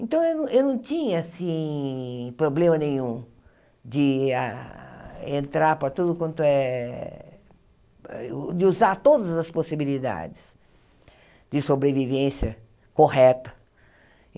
Então, eu não eu não tinha assim problema nenhum de a entrar para tudo quanto é... de usar todas as possibilidades de sobrevivência correta.